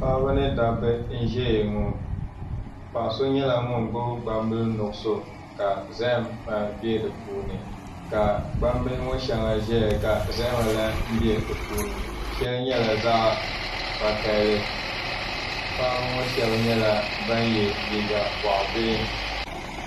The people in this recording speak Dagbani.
Paɣaba ni dabba n ʒɛya ŋɔ paɣa so nyɛla ŋun gbubi gbambili nuɣso ka zaham bɛ di puuni ka gbambihi ŋɔ shɛŋa ʒɛya ka zahama lahi bɛ di puuni shɛli nyɛla zaɣ vakaɣali paɣaba ŋɔ shab nyɛla ban yɛ liiga boɣa bihi